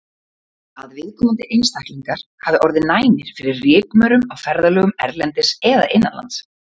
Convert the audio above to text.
Að viðkomandi einstaklingar hafi orðið næmir fyrir rykmaurum á ferðalögum erlendis eða innanlands.